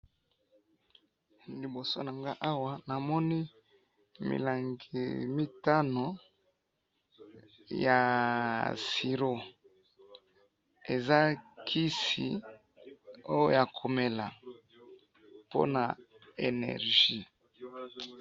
liboso nanga awa namoni milangi mitanu ya syro eza kisioyo ya komela pona energie